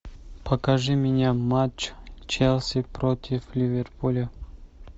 покажи мне матч челси против ливерпуля